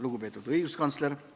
Lugupeetud õiguskantsler!